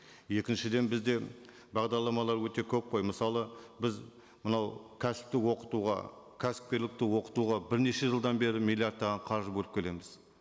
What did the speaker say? екіншіден бізде бағдарламалар өте көп қой мысалы біз мынау кәсіпті оқытуға кәсіпкерлікті оқытуға бірнеше жылдан бері миллиардтаған қаржы бөліп келеміз